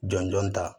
Jɔn jɔn ta